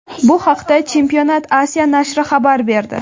Bu haqda Championat Asia nashri xabar berdi .